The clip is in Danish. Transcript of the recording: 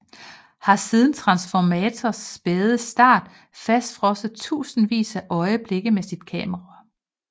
Har siden Transformators spæde start fastfrosset tusindvis af øjeblikke med sit kamera